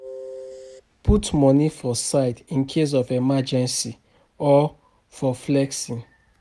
Put money for side incase of emergency or for flexing